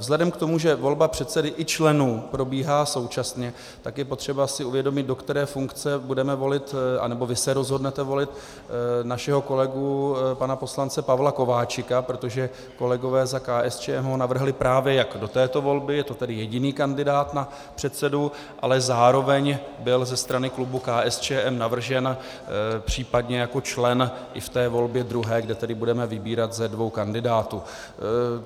Vzhledem k tomu, že volba předsedy i členů probíhá současně, tak je potřeba si uvědomit, do které funkce budeme volit, anebo vy se rozhodnete volit našeho kolegu pana poslance Pavla Kováčika, protože kolegové za KSČM ho navrhli právě jak do této volby, je to tedy jediný kandidát na předsedu, ale zároveň byl ze strany klubu KSČM navržen případně jako člen i v té volbě druhé, kde tedy budeme vybírat ze dvou kandidátů.